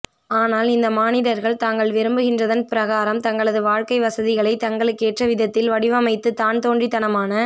ஆனால் இந்த மானிடர்கள் தாங்கள் விரும்புகின்றதன் பிரகாரம் தாங்களது வாழ்க்கை வசதிகளை தங்களுக்கேற்ற விதத்தில் வடிவமைத்து தான்தோன்றித் தனமான